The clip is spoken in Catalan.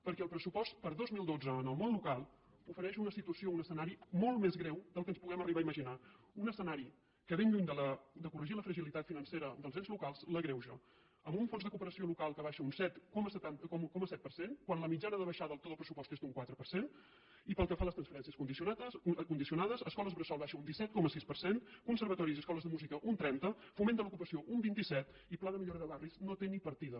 perquè el pressupost per al dos mil dotze en el món local ofereix una situació o un escenari molt més greu del que ens puguem arribar a imaginar un escenari que ben lluny de corregir la fragilitat financera dels ens locals l’agreuja amb un fons de cooperació local que baixa un set coma set per cent quan la mitjana de baixada de tot el pressupost és d’un quatre per cent i pel que fa a les transferències condicionades escoles bressol baixa un disset coma sis per cent conservatoris i escoles de música un trenta foment de l’ocupació un vint set i el pla de millora de barris no té ni partida